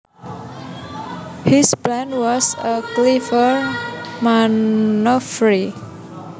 His plan was a clever manoeuvre